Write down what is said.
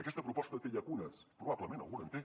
aquesta proposta té llacunes probablement alguna en té